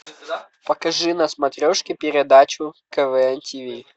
покажи на смотрешке передачу квн тв